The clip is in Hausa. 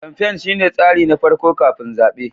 kamfain shine tsari na farko kafin zaɓe.